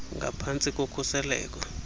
ngaphan tsi kokhuseleko